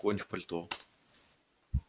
конь в пальто